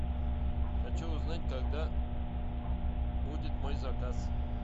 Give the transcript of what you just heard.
хочу узнать когда будет мой заказ